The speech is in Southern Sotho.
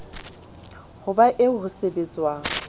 ho ba eo ho sebetswang